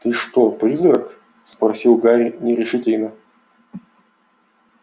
ты что призрак спросил гарри нерешительно